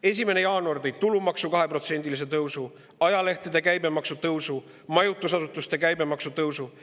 1. jaanuar tõi tulumaksu 2%‑lise tõusu, ajalehtede käibemaksu tõusu ja majutusasutuste käibemaksu tõusu.